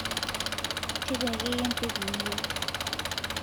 tejo ake iyie entoki niyieu